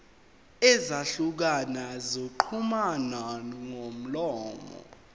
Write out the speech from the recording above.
ezahlukene zokuxhumana ngomlomo